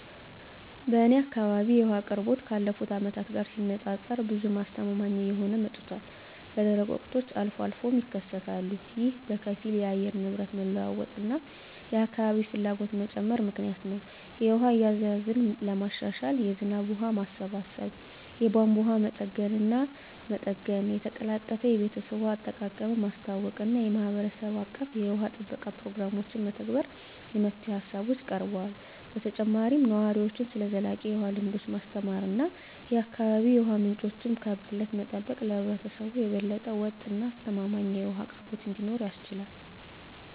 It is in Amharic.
በእኔ አካባቢ የውሃ አቅርቦት ካለፉት አመታት ጋር ሲነፃፀር ብዙም አስተማማኝ እየሆነ መጥቷል፣ በደረቅ ወቅቶች አልፎ አልፎም ይከሰታሉ። ይህ በከፊል የአየር ንብረት መለዋወጥ እና የአካባቢ ፍላጎት መጨመር ምክንያት ነው. የውሃ አያያዝን ለማሻሻል የዝናብ ውሃ ማሰባሰብ፣ የቧንቧ መጠገንና መጠገን፣ የተቀላጠፈ የቤተሰብ ውሃ አጠቃቀምን ማስተዋወቅ እና የማህበረሰብ አቀፍ የውሃ ጥበቃ ፕሮግራሞችን መተግበር የመፍትሄ ሃሳቦች ቀርበዋል። በተጨማሪም ነዋሪዎችን ስለ ዘላቂ የውሃ ልምዶች ማስተማር እና የአካባቢ የውሃ ምንጮችን ከብክለት መጠበቅ ለህብረተሰቡ የበለጠ ወጥ እና አስተማማኝ የውሃ አቅርቦት እንዲኖር ያስችላል።